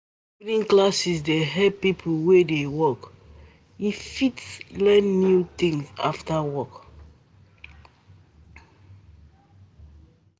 Evening classes dey help people wey dey work fit learn new things after work.